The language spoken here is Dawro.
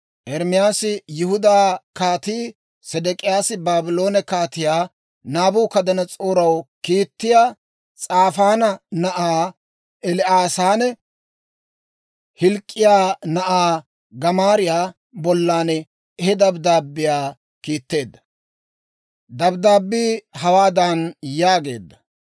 Ermaasi Yihudaa Kaatii Sedek'iyaasi Baabloone Kaatiyaa Naabukadanas'ooraw kiittiyaa Saafaana na'aa El"aasanne Hilk'k'iyaa na'aa Gamaariyaa bollan he dabddaabbiyaa kiitteedda. Dabddaabbii hawaadan yaageedda;